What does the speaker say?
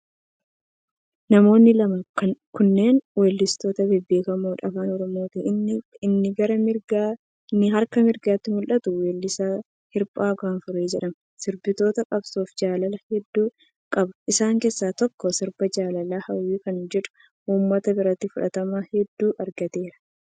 Namoonni lamaan kunneen weellistoota bebbeekamoo Afaan Oromooti. Inni gara harka mirgaaatti mul'atu weellisaa Hirphaa Gaanfuree jedhama. Sirboota qabsoofi jaalalaa hedduu qaba. Isaan keessa tokko sirba jaalalaa 'Hawwii' kan jedhuu uummata biratti fudhatama hedduu argateera .